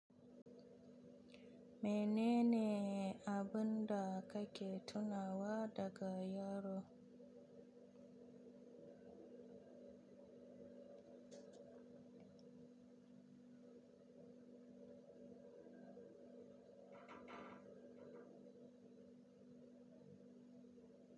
Mene ne abun da kake tunawa daga yaro?